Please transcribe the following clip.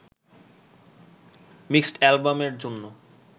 mixed অ্যালবামের জন্য